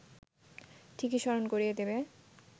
ঠিকই স্মরণ করিয়ে দেবে